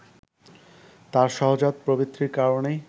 তার সহজাত প্রবৃত্তির কারণেই